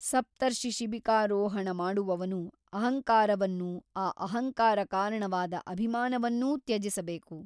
ಸಪ್ತರ್ಷಿಶಿಬಿಕಾರೋಹಣ ಮಾಡುವವನು ಅಹಂಕಾರವನ್ನೂ ಆ ಅಹಂಕಾರ ಕಾರಣವಾದ ಅಭಿಮಾನವನ್ನೂ ತ್ಯಜಿಸಬೇಕು.